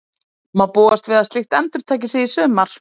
Má búast við að slíkt endurtaki sig í sumar?